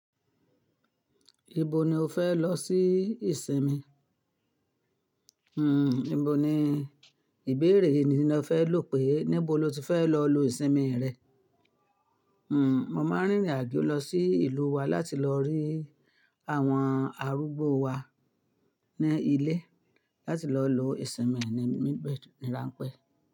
Ibo ni o fẹ lọ sí ìsinmi? Hmm, ibo ni ìbéèrè ni lo fẹ lò pé níbo lo ti fẹ lọ lo ìsinmi rẹ? Hmm, mo máa rìn rìn àjò lọ sí ìlú wa láti lọ rí àwọn arúgbó wa ní ilé láti lọ lo ìsinmi mi nibe ni rán pẹ.